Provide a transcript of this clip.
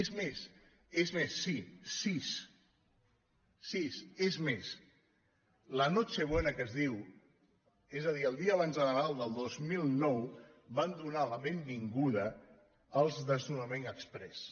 és més és més sí sis és més la nochebuena que es diu és a dir el dia abans de nadal del dos mil nou van donar la ben·vinguda als desnonaments exprés